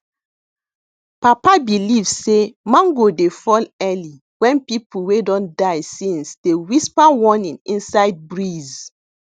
papa believe say mango dey fall early when people wey don die since dey whisper warning inside breeze